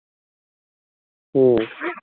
হম